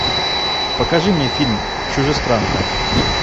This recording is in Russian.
покажи мне фильм чужестранка